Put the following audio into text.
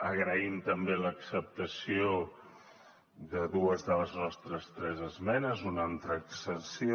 agraïm també l’acceptació de dues de les nostres tres esmenes una en transacció